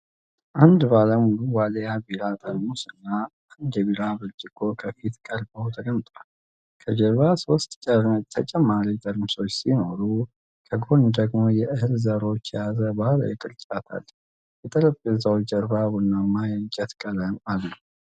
አንድ ባለ ሙሉ ዋልያ ቢራ ጠርሙስና አንድ የቢራ ብርጭቆ ከፊት ቀርበው ተቀምጠዋል። ከጀርባ ሶስት ተጨማሪ ጠርሙሶች ሲኖሩ፣ ከጎን ደግሞ የእህል ዘሮችን የያዘ ባህላዊ ቅርጫት አለ። የጠረጴዛው ጀርባ ቡናማ የእንጨት ቀለም አለው።